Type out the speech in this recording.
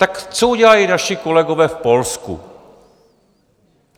Tak co udělali naši kolegové v Polsku?